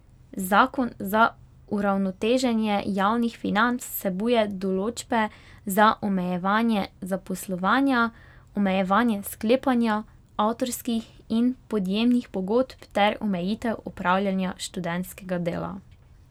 Zakon za uravnoteženje javnih financ vsebuje določbe za omejevanje zaposlovanja, omejevanje sklepanja avtorskih in podjemnih pogodb ter omejitev opravljanja študentskega dela.